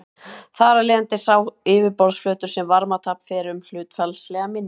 Þar af leiðandi er sá yfirborðsflötur sem varmatap fer um hlutfallslega minni.